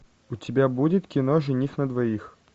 у тебя будет кино жених на двоих